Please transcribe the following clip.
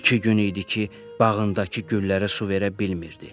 İki gün idi ki, bağındakı güllərə su verə bilmirdi.